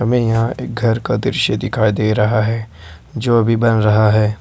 हमें यहां एक घर का दृश्य दिखाई दे रहा है जो अभी बन रहा है।